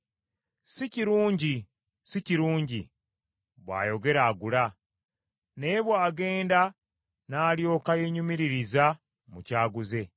“Si kirungi, si kirungi,” bw’ayogera agula; naye bw’agenda n’alyoka yeenyumiririza mu ky’aguze.